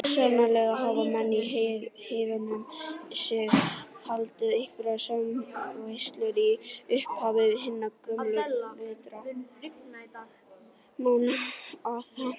Sennilega hafa menn í heiðnum sið haldið einhverja smáveislu í upphafi hinna gömlu vetrarmánaða.